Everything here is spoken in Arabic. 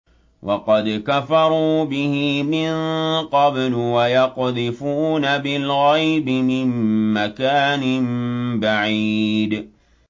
وَقَدْ كَفَرُوا بِهِ مِن قَبْلُ ۖ وَيَقْذِفُونَ بِالْغَيْبِ مِن مَّكَانٍ بَعِيدٍ